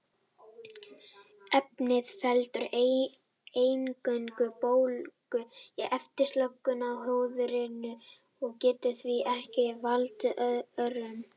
Efnið veldur eingöngu bólgu í efstu lögum húðarinnar og getur því ekki valdið örum.